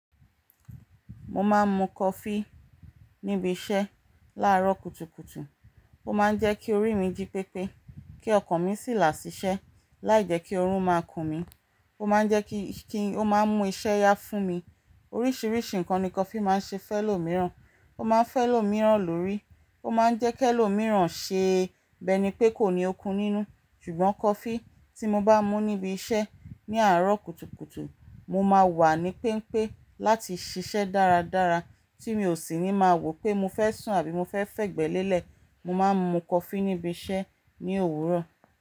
Mo máa ń mu coffee ní ibi iṣẹ́ láàárọ̀ kùtùkùtù. Ó máa ń jẹ́ kí orí mi jí pépé, kí ọkàn mi sì là sí iṣẹ́, láìjẹ́ kí oorun máa kun mí. Ó máa ń jẹ́ kí, kí ó máa mú iṣẹ́ yá fún mi. Oríṣìíríṣìí ǹkan ni kofi máa ń ṣe fẹ́ lọ̀ mìíràn. Ó máa ń fẹ́ lọ̀ mìíràn lórí. Ó máa ń jẹ́ kẹ́ lọ̀ mìíràn ṣe. Bi eni pé kò ní okun nínú. Ṣùgbọ́n coffee tí mo bá mú níbi iṣẹ́ ní àárọ̀ kùtùkùtù, mo máa wà ní pénpé láti ṣiṣẹ́ dáradára, tí mi ò sì ní máa wò pé mo fẹ́ sùn àbí mo fẹ́ fẹ́ gbẹ́lẹ́lẹ́. Mo máa ń mu coffee níbi iṣẹ́ ní òwúrọ̀